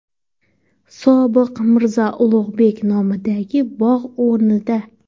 Sobiq Mirzo Ulug‘bek nomidagi bog‘ o‘rnida.